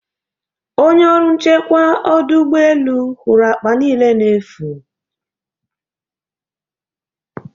onye ọrụ nchekwa ọdụ ụgbọ elu hụrụ akpa niile efu